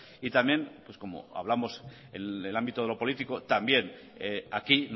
y también como hablamos en el ámbito de lo político también aquí